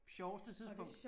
Sjoveste tidspunkt